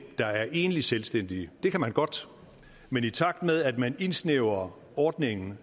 der er enlige selvstændige det kan man godt men i takt med at man indsnævrer ordningen